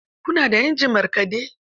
Ku na da injin markaɗe?